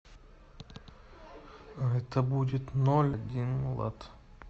это будет ноль один лат